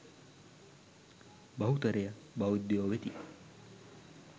බහුතරය බෞද්ධයෝ වෙති